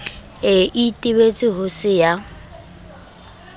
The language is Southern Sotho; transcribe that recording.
e itebetse ho se ya